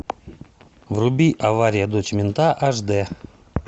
вруби авария дочь мента аш дэ